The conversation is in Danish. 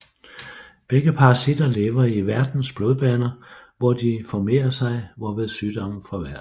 Begge parasitter lever i værtens blodbaner hvor de formerer sig hvorved sygdommen forværres